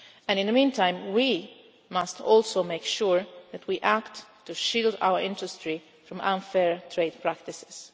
In the meantime, we must also make sure that we act to shield our industry from unfair trade practices.